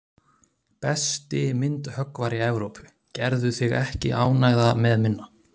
Besti myndhöggvari Evrópu, gerðu þig ekki ánægða með minna.